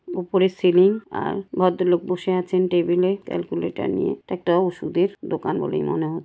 উপরে সিলিং আর ভদ্রলোক বসে আছেন টেবিলে ক্যালকুলেটর নিয়ে। এটা একটা ওষুধের দোকান বলে মনে হ--